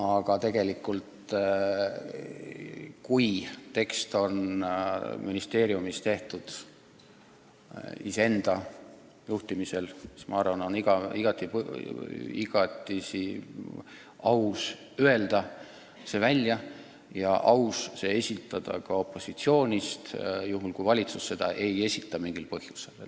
Aga kui tekst on ministeeriumis tehtud iseenda juhtimisel, siis on minu arvates igati aus see välja öelda ja eelnõu ka opositsioonist esitada, juhul kui valitsus seda mingil põhjusel ei tee.